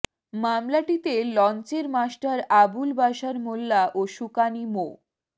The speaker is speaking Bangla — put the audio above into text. মামলাটিতে লঞ্চের মাস্টার আবুল বাশার মোল্লা ও সুকানি মো